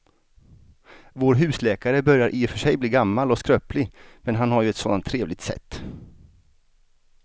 Vår husläkare börjar i och för sig bli gammal och skröplig, men han har ju ett sådant trevligt sätt!